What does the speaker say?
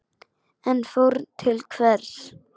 En fórn til hvers?